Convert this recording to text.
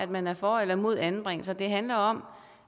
man er for eller mod anbringelser det handler om